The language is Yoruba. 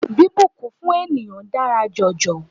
Bíbùnkún fún ènìyàn dára jọjọ.